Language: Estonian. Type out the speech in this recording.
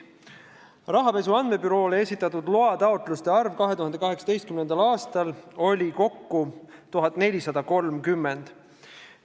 Rahapesu andmebüroole esitatud loataotluste arv 2018. aastal oli kokku 1430.